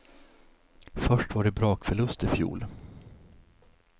Först var det brakförlust i fjol.